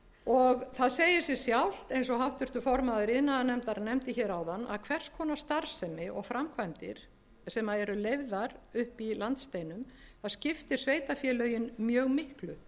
frá stórstraumsfjörðuborði það segir sig sjálft eins og háttvirtur formaður iðnaðarnefndar nefndi hér áðan að hvers konar starfsemi og framkvæmdir sem eru leyfðar uppi í landsteinum þær skiptir sveitarfélögin mjög miklu